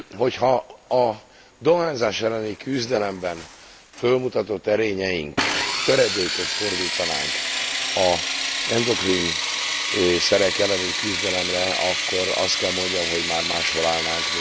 Hogyha a dohányzás elleni küzdelemben fölmutatott erényeink töredékét fordítanánk az endokrin szerek elleni küzdelemre, akkor azt kell mondjam, hogy már máshol állnánk.